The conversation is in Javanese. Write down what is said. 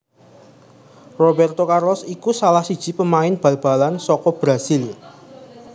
Robérto Carlos iku salah siji pemain bal balan saka Brasil